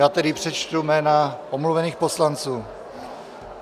Já tedy přečtu jména omluvených poslanců.